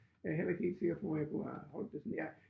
Er jeg heller ikke helt sikker på at jeg kunne have holdt det sådan jeg